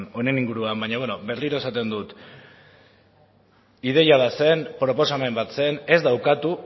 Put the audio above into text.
honen inguruan baina berriro esaten dut ideia bat zen proposamen bat zen ez da ukatu